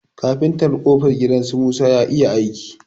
Kafintan ƙofar gidan su musa ya iya aiki.